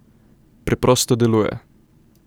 Preprosto deluje.